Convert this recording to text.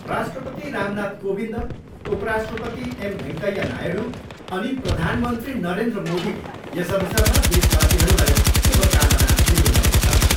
राष्ट्रपति रामनाथ कोविन्द, उपराष्ट्रपति एम भेङ्कैया नायडू अनि प्रधानमन्त्री नरेन्द्र मोदीले यस अवसरमा देशवासीहरूलाई शुभकामना दिनुभएको छ।